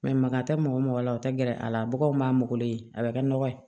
maa tɛ mɔgɔ mɔgɔ mɔgɔ la o tɛ gɛrɛ a la baganw m'a mɔgɔlen a bɛ kɛ nɔgɔ ye